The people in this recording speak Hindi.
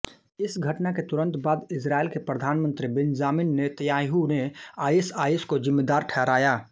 इस घटना के तुरंत बाद इसरायल के प्रधानमन्त्री बेंजामिन नेतन्याहू ने आईएसआईएस को जिम्मेदार ठहराया